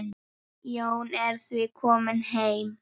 Jón er því kominn heim.